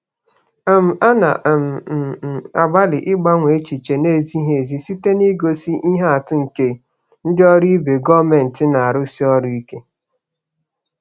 um Ana um m m agbalị ịgbanwe echiche na-ezighị ezi site n'igosi ihe atụ nke ndị ọrụ ibe gọọmentị na-arụsi ọrụ ike.